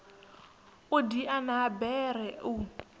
u diana ha bere u